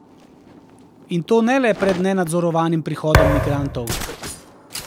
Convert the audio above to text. In to ne le pred nenadzorovanim prihodom migrantov.